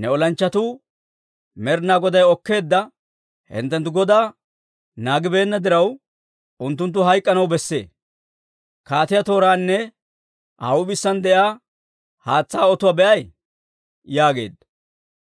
ne olanchchatuu Med'inaa Goday okkeedda hinttenttu godaa naagibeenna diraw, unttunttu hayk'anaw besse. Kaatiyaa tooraanne Aa huup'isaan de'iyaa haatsaa otuwaa be'ay?» yaageedda.